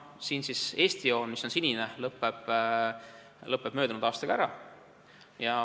Eesti joon, mis on sinine, lõpeb möödunud aastaga ära.